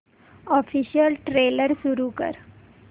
official trailer सुरू कर